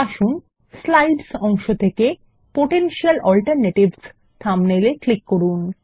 আসুন স্লাইডস অংশ থেকে পোটেনশিয়াল অল্টারনেটিভস থাম্বনেল এ ক্লিক করুন